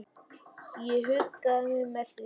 Ég huggaði mig með því.